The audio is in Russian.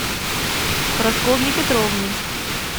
прасковье петровне